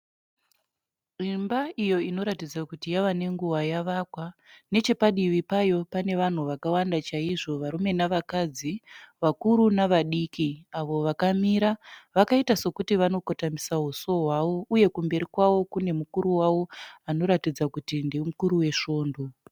Imba iyo inoratidza kuti yava nenguva yavakwa. Nechepadivi payo pane vanhu vakawanda chaizvo. Varume navakadzi, vakuru navadiki avo vakamira vakaita sekuti vanokotamisa usu hwavo uye kumberi kwavo kune mukuru wavo anoratidza kuti ndimukuru wesvondo.